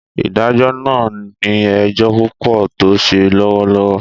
Ìdájọ na ni ejo pupo to se lọwọlọwọ